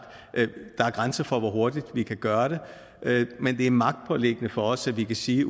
at der er grænser for hvor hurtigt de kan gøre det men det er magtpåliggende for os at vi kan sige